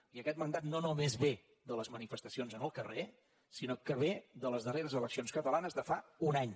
i aquest mandat no només ve de les manifestacions en el carrer sinó que ve de les darreres eleccions catalanes de fa un any